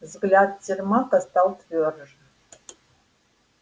взгляд сермака стал твёрже